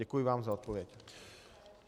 Děkuji vám za odpověď.